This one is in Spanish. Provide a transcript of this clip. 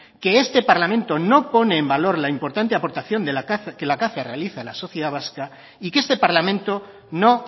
que este parlamento no pone en valor la importante aportación que la caza realiza en la sociedad vasca y que este parlamento no